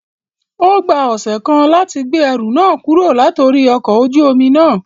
O gba ọsẹ kan lati gbe ẹru náà kuro latori ọkọ ojú omi na